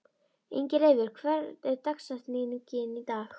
Ingileifur, hver er dagsetningin í dag?